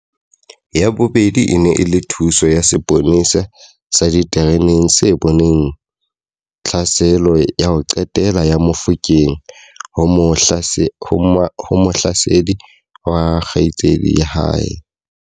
Ya bobedi e ne e le thuso ya seponesa sa ditereneng se boneng tlhaselo ya ho qetela ya Mofokeng ho mohlasedi wa kgaitsedi ya hae.